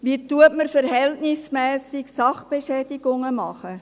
Wie kann man verhältnismässig eine Sachbeschädigung begehen?